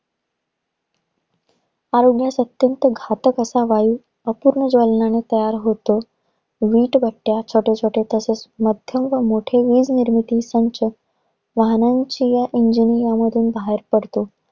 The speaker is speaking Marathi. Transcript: आरोग्यास अत्यंत घातक असा वायू, रसायने ज्वलंनातून तयार होतो. वीटभट्ट्या छोट्या-छोट्या तसेच माध्यम व मोठे वीज निर्मिती संच वाहनांची व engine ह्यामधून बाहेर पडतो.